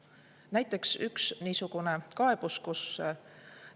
Toon näiteks ühe kaebuse.